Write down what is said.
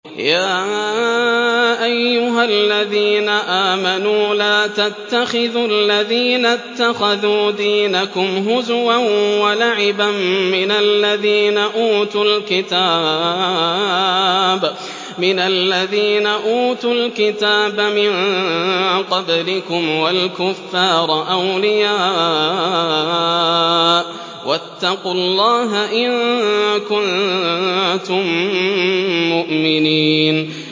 يَا أَيُّهَا الَّذِينَ آمَنُوا لَا تَتَّخِذُوا الَّذِينَ اتَّخَذُوا دِينَكُمْ هُزُوًا وَلَعِبًا مِّنَ الَّذِينَ أُوتُوا الْكِتَابَ مِن قَبْلِكُمْ وَالْكُفَّارَ أَوْلِيَاءَ ۚ وَاتَّقُوا اللَّهَ إِن كُنتُم مُّؤْمِنِينَ